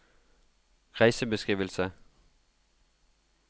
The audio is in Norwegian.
reisebeskrivelse